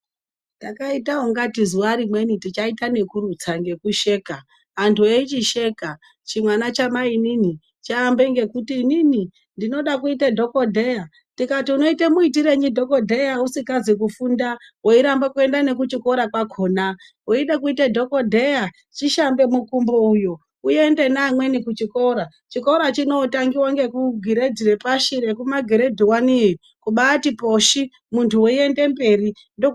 Takaita ungatei zuwa rimweni tichaita ekurutsa ngekusheka anthu eichisheka chimwana chamainini chaamba ekuti inini ndinoda kuita dhokodheya tikati unoita muitirenyi dhokodheya usikazi kufunda weiramba kuenda nekuchikora kwakhona weide kuite dhokodheya chishambe mukumbo uyu uende neamweni kuchikora, chikora chinootangiwa ngekugiredhi repashi ngekumagiredhi wani youyo kubaati poshi munthu weiende mberi ndoku....